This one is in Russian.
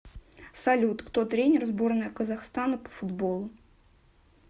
салют кто тренер сборная казахстана по футболу